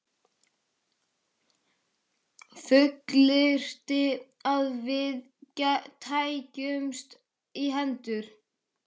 Fullyrti, að við tækjumst í hendur.